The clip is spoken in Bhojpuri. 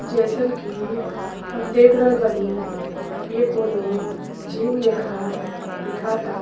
जइसन कि हम देख रहल बानी ये कोनो जिम लेखा दिखाता।